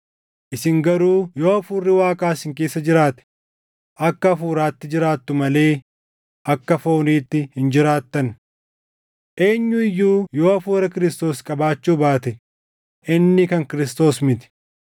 Isin garuu yoo Hafuurri Waaqaa isin keessa jiraate akka Hafuuraatti jiraattu malee akka fooniitti hin jiraattan. Eenyu iyyuu yoo Hafuura Kiristoos qabaachuu baate inni kan Kiristoos miti.